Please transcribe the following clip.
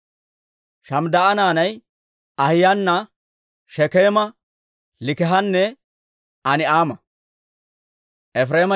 Shamidaa'a naanay Ahiyaana, Shekeema, Liik'ihanne Ani'aama.